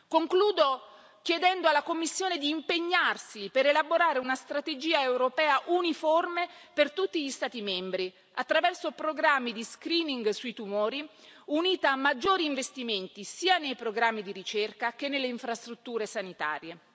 Concludo chiedendo alla Commissione di impegnarsi per elaborare una strategia europea uniforme per tutti gli Stati membri, attraverso programmi di screening sui tumori, unita a maggiori investimenti sia nei programmi di ricerca che nelle infrastrutture sanitarie.